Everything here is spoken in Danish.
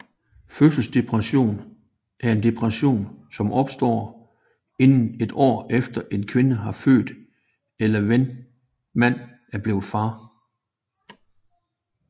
Fødselsdepression er en depression som opstår inden et år efter en kvinde har født eller ven mand er blevet far